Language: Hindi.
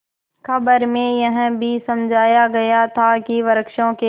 खबर में यह भी समझाया गया था कि वृक्षों के